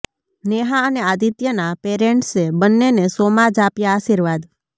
નેહા અને આદિત્યનાં પેરેન્ટ્સે બંનેને શોમાં જ આપ્યા આશીર્વાદ